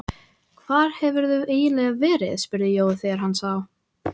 Hvar hefurðu eiginlega verið? spurði Jói þegar hann sá